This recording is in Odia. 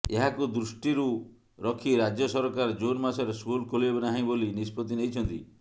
ଏହାକୁ ଦୃଷ୍ଟିରୁ ରଖି ରାଜ୍ୟ ସରକାର ଜୁନ୍ ମାସରେ ସ୍କୁଲ ଖୋଲିବେ ନାହିଁ ବୋଲି ନିଷ୍ପତ୍ତି ନେଇଛନ୍ତି